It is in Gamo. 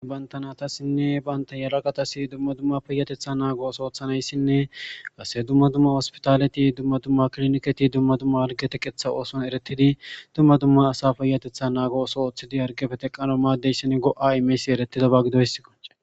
bantanatassinne banta yalaqatasi dumma dumma peyatetha naago os oothanayssinne qase dumma dumma ospitaleti dumma dumma kliniketi dumma dumma algete qetha ooson eretidi dumma dumma asa peyatetha naago oso ooththidi argefe teqqano maaddeyssin go7a imeysi eretidaba gidoysso